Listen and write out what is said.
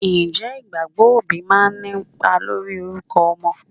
Ǹjẹ́ ìgbàgbọ́ òbí máa ń ní ipa lórí orúkọ ọmọ?